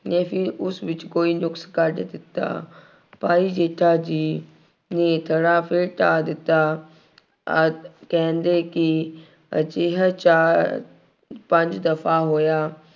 ਨੇ ਫਿਰ ਉਸ ਵਿੱਚ ਕੋਈ ਨੁਕਸ ਕੱਢ ਦਿੱਤਾ। ਭਾਈ ਜੇਠਾ ਜੀ ਨੇ ਥੜ੍ਹਾ ਫਿਰ ਢਾਅ ਦਿੱਤਾ ਅਤੇ ਕਹਿੰਦੇ ਕਿ ਅਜਿਹਾ ਚਾਰ ਪੰਜ ਦਫਾ ਹੋਇਆ।